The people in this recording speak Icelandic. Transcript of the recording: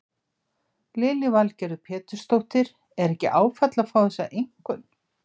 Lillý Valgerður Pétursdóttir: Er ekki áfall að fá þessa einkunn?